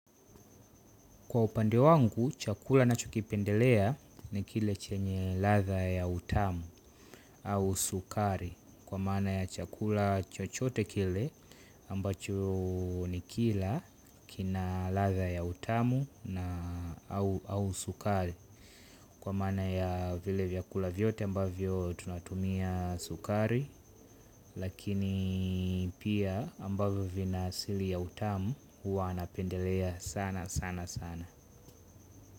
Kwa upande wangu, chakula ninacho kipendelea ni kile chenye ladha ya utamu au sukari. Kwa maana ya chakula chochote kile ambacho ni kila kina ladha ya utamu au sukari. Kwa maana ya vile vyakula vyote ambavyo tunatumia sukari. Lakini pia ambavyo vina asili ya utamu huwa napendelea sana sana sana.